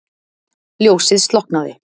Ljósið slokknaði.